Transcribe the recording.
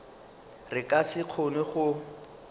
re ka se kgone go